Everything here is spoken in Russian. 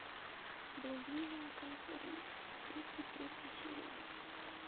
блудливая калифорния тридцать третья серия